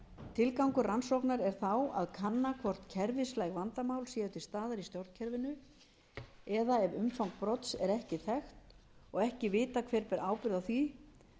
tilgangur rannsóknar er þá að kanna hvort kerfislæg vandamál séu til staðar í stjórnkerfinu eða ef umfang brots er ekki þekkt og ekki vitað hver ber ábyrgð á því